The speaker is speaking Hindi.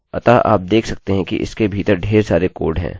अतःआप देख सकते हैं कि इसके भीतर ढेर सारे कोड हैं